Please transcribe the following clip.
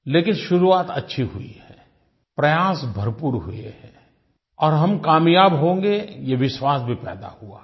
लेकिन शुरुआत अच्छी हुई है प्रयास भरपूर हुए हैं और हम कामयाब होंगे ये विश्वास भी पैदा हुआ है